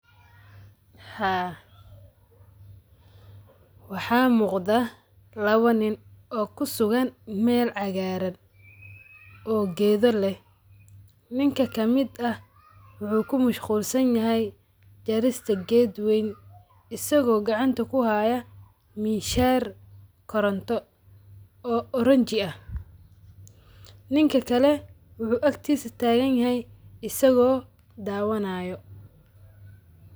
Haa waxaa muqda lawa nin oomkusugan meel cagaaran oo gehda leh nink a kamid ah wuxu kumashquulsanyahy jarista geed weyn asago gacanta kuhya mishaar koronto o orange ah ninka kale wuxu agtisa taaganyahy asigoo dawanayo.